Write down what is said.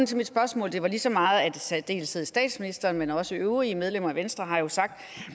til mit spørgsmål var lige så meget at i særdeleshed statsministeren men også øvrige medlemmer af venstre har sagt